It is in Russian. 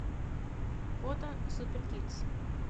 фото супер кидс